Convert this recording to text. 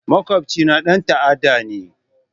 Makwabcina ɗan ta'adda ne